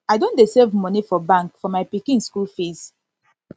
i don dey save moni for bank for my pikin school fees